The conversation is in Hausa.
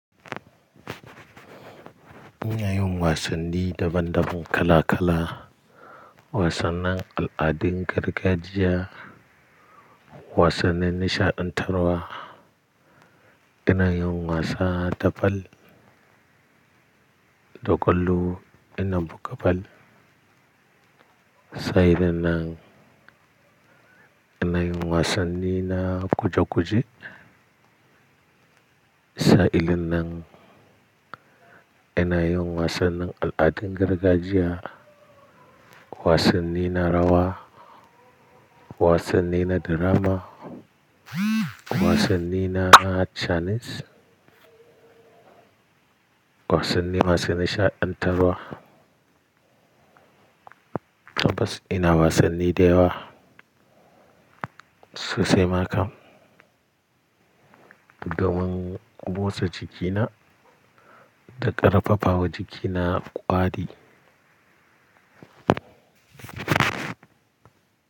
Ina yawan wasanni daban-daban kala-kala, wasannin al'adun gargajiya, wasannin nishaɗantarwa, ina yawan wasa da ball, da kallo, ina buga ball. Sa'in nan ina yin wasanni na guje-guje, sahilin nan ina yin wasannin al'adun gargajiya, wasanni na rawa, wasanni na drama, wasanni na channels, wasanni masu nishaɗantarwa. Bas ina wasanni da yawa sosai ma kam, domin musa jikina da ƙarfafawa jikina ƙwari.